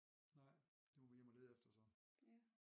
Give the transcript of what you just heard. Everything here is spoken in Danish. Nej det må vi hjem at lede efter så